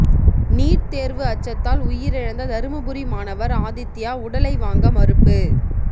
NEET தேர்வு அச்சத்தால் உயிரிழந்த தருமபுரி மாணவர் ஆதித்யா உடலை வாங்க மறுப்பு